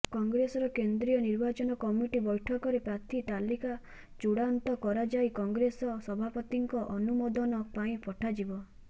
କଂଗ୍ରେସର କେନ୍ଦ୍ରୀୟ ନିର୍ବାଚନ କମିଟି ବ୘ଠକରେ ପ୍ରାର୍ଥୀ ତାଲିକା ଚୂଡ଼ାନ୍ତ କରାଯାଇ କଂଗ୍ରେସ ସଭାପତିଙ୍କ ଅନୁମୋଦନ ପାଇଁ ପଠାଯିବ